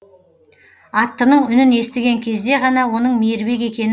аттының үнін естіген кезде ғана оның мейірбек екен